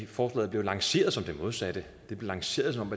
forslaget blev lanceret som det modsatte det blev lanceret som